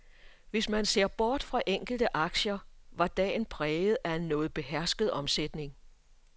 Hvis man ser bort fra enkelte aktier, var dagen præget af en noget behersket omsætning.